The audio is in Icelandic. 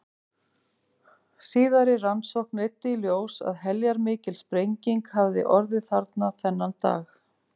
Síðari rannsókn leiddi í ljós að heljarmikil sprenging hafði orðið þarna þennan dag.